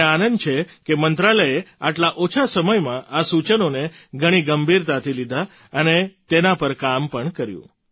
મને આનંદ છે કે મંત્રાલયે આટલા ઓછા સમયમાં આ સૂચનોને ઘણી ગંભીરતાથી લીધાં અને તેના પર કામ પણ કર્યું